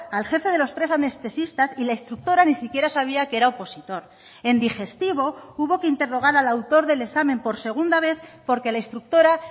al jefe de los tres anestesistas y la instructora ni siquiera sabía que era opositor en digestivo hubo que interrogar al autor del examen por segunda vez porque la instructora